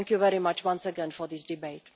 Thank you very much, once again, for this debate.